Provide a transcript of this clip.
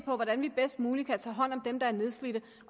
på hvordan vi bedst muligt kan tage hånd om dem der er nedslidte